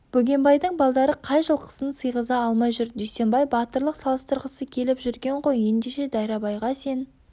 бөгенбайдың балдары қай жылқысын сиғыза алмай жүр дүйсенбай батырлық салыстырғысы келіп жүрген ғой ендеше дайрабайға сен